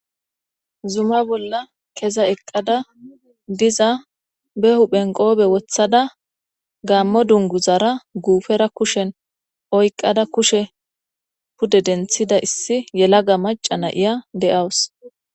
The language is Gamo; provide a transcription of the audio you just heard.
Zuma bolla keza eqqada diza ba huphphen qoobe wotta da gaammo dunguzara guufera kushen oyqqada kushe pude denttidaa issi yelaga maca na 'iya de'uawus.